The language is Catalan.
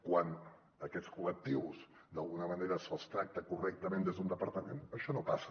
quan a aquests col·lectius d’alguna manera se’ls tracta correctament des d’un departament això no passa